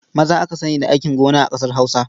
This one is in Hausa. Maza aka sani da aikin gon a ƙasar Hausa.